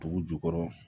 Dugu jukɔrɔ